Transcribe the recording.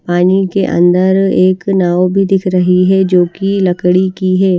पानी के अंदर एक नाव भी दिख रही है जो की लकड़ी की है।